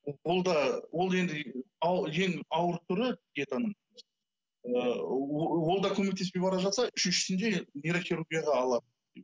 о ол да ол енді ең ауыр түрі диетаның ыыы ол да көмектеспей бара жатса үшіншісінде нейрохирургияға алады